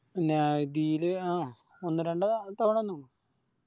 ല് ആ ഒന്ന് രണ്ട് തവണ വന്നിക്കുണു